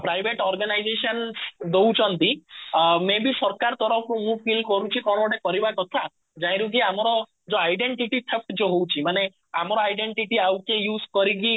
private organisations ଦଉଛନ୍ତି ଅ may be ସରକାର ତରଫରୁ ମୁଁ feel କରୁଛି କଣ ଗୋଟେ କରିବା କଥା ଯାହା ରୁ କି ଆମର ଯୋଉ identity fact ଯୋଉ ରହୁଛି ମାନେ ଆମ ର identity ଆଉ କିଏ use କରିକି